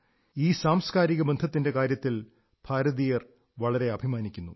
ഈ സാംസ്കാരിക ബന്ധത്തിന്റെ കാര്യത്തിൽ ഭാരതീയർ വളരെ അഭിമാനിക്കുന്നു